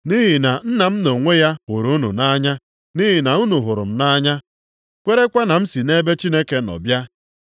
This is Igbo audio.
Nʼihi na Nna m nʼonwe ya hụrụ unu nʼanya, nʼihi na unu hụrụ m nʼanya kwerekwa na m si nʼebe Chineke nọ bịa.